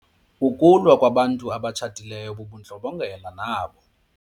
Ukulwa kwabantu abatshatileyo bubundlobongela nabo.